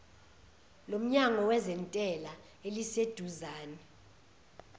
lomnyango wezentela eliseduzane